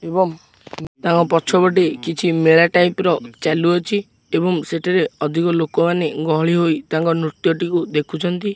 ଏବଂ ତାଙ୍କ ପଛପଟେ କିଛି ମେଳା ଟାଇପ ର ଚାଲୁଅଛି ଏବଂ ସେଠାରେ ଅଧିକ ଲୋକମାନେ ଗହଳି ହୋଇ ତାଙ୍କ ନୃତ୍ୟଟିକୁ ଦେଖିଛନ୍ତି।